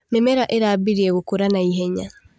Mĩmera ĩrambirie gũkũra na ihenya.